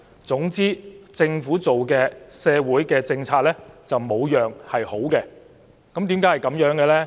總之，只要是政府制訂的社會政策就一無是處，為何會這樣呢？